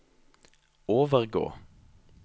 overgå